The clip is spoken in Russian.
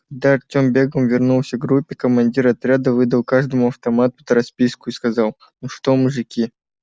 когда артём бегом вернулся к группе командир отряда выдал каждому автомат под расписку и сказал ну что мужики